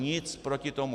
Nic proti tomu.